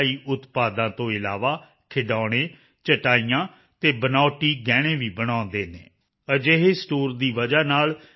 ਉਤਪਾਦਾਂ ਤੋਂ ਇਲਾਵਾ ਖਿਡੌਣੇ ਚਟਾਈਆਂ ਅਤੇ ਬਨਾਵਟੀ ਗਹਿਣੇ ਵੀ ਬਣਾਉਂਦੇ ਹਨ ਅਜਿਹੇ ਸਟੋਰ ਦੀ ਵਜ੍ਹਾ ਨਾਲ ਜੀ